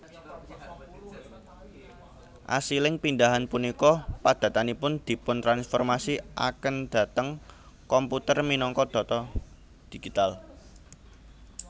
Asiling pindahan punika padatanipun dipun transformasi aken dhateng komputer minangka data digital